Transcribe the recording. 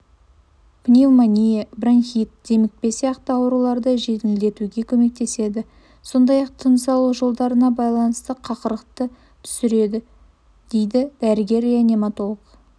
пневмания бронхит демікпе сияқты ауруларды жеңілдетуге көмектеседі сондай-ақ тыныс алу жолдарына байланған қақырықты түсіреді дейдідәрігер-реаниматолог